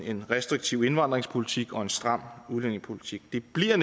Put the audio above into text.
en restriktiv indvandringspolitik og en stram udlændingepolitik det bliver